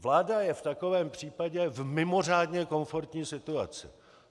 Vláda je v takovém případě v mimořádně komfortní situaci.